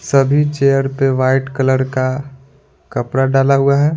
सभी चेयर पे white colour का कपड़ा डाला हुआ है।